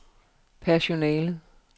personalet